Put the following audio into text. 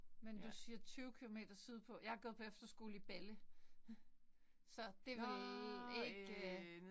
Men du siger 20 kilometer sydpå. Jeg har gået på efterskole i Balle så det vel ikke